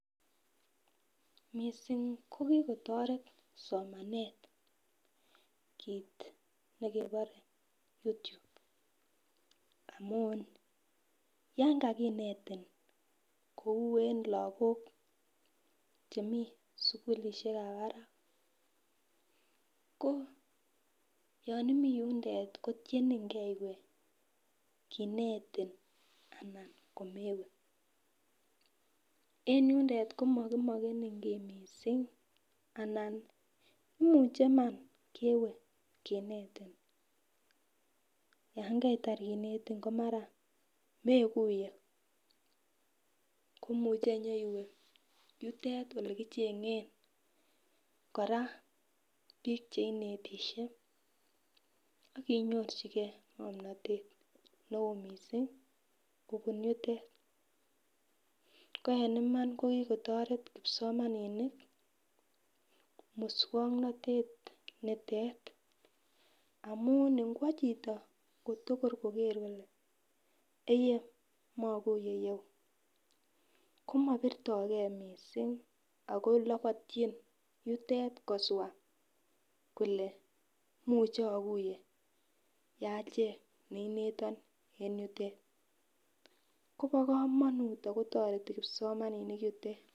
Missing ko kikotoret somanet kit nekebore YouTube amun yon kakinetin kou en Lokok chemeii en sukulishekab barak ko yon omii yondet kotiyengee iwee kinetin anan komewee . En yundet komokimokenin kii missing anan imuche Iman kewee kinetin yon kaitar kinetin komara mekuye komuche yutet olekichengen. Koraa bik cheinetishe akinyorchigee ngomnotet neo missing kobun yutet ko en Iman ko kikotoret kipsomaninik muswoknotet nitet amun ikwo chito tokor kogeer kole eyee mokuye you komobirtogee missing ako lobotyin yotet koswach muche okuyee yachemg neineton en yutet Kobo komonut ako toreti kipsomaninik yutet.